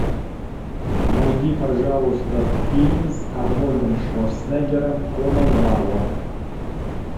найди пожалуйста фильм с арнольдом шварценеггером конан варвар